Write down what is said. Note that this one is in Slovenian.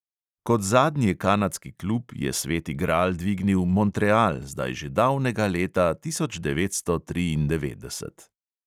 Kot zadnji kanadski klub je sveti gral dvignil montreal zdaj že davnega leta tisoč devetsto triindevetdeset!